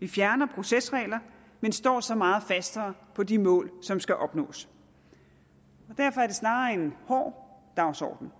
vi fjerner procesregler men står så meget fastere på de mål som skal opnås derfor er det snarere en hård dagsorden